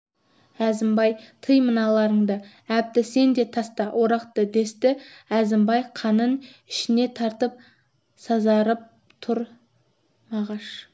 әзімбай тый мыналарыңды әбді сен де таста орақты десті әзімбай қанын ішіне тартып сазарып тұр мағаш